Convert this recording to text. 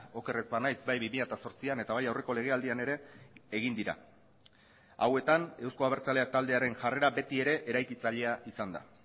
oker ez banaiz bai bi mila zortzian eta bai aurreko legealdian ere egin dira hauetan euzko abertzaleak taldearen jarrera beti ere eraikitzailea izan da